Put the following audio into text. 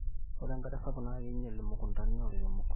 ore enkare sapuk naa keinyial imukuntani oolairemok